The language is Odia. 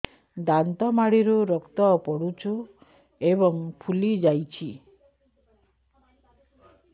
ଦାନ୍ତ ମାଢ଼ିରୁ ରକ୍ତ ପଡୁଛୁ ଏବଂ ଫୁଲି ଯାଇଛି